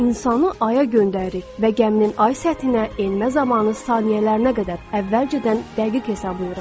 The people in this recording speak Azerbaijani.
İnsanı aya göndəririk və gəminin ay səthinə enmə zamanı saniyələrinə qədər əvvəlcədən dəqiq hesablayırıq.